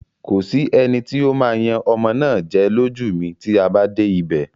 Kò sí eni tí ó ó máa yan ọmọ náà jẹ lójú mi tí a bá dé ibè.